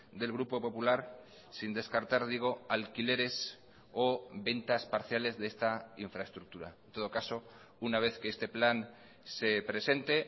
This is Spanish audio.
del grupo popular sin descartar digo alquileres o ventas parciales de esta infraestructura en todo caso una vez que este plan se presente